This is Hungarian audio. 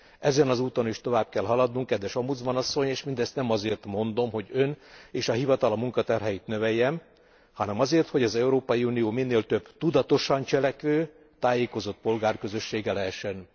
Ezen az úton is tovább kell haladnunk, kedves Ombudsman asszony, és mindezt nem azért mondom, hogy Ön és a hivatala munkaterheit növeljem, hanem azért hogy az Európai Unió minél több tudatosan cselekvő, tájékozott polgár közössége lehessen.